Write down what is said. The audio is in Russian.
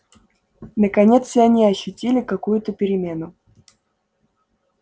наконец и они ощутили какую-то перемену